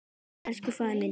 Elsku faðir minn.